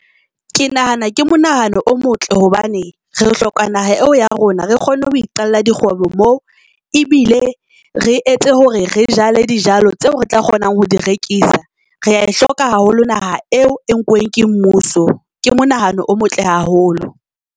Ke nahana ke monahano o motle hobane re hloka naha eo ya rona, re kgone ho iqalla di kgwebo moo. Ebile re etse hore re jala dijalo tseo re tla kgonang ho di rekisa. Rea e hloka haholo naha eo e nkuweng ke mmuso. Ke mo nahano o motle haholo.